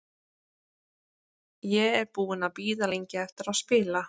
Ég er búinn að bíða lengi eftir að spila.